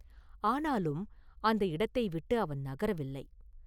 ஆனாலும் அந்த இடத்தை விட்டு அவன் நகரவில்லை.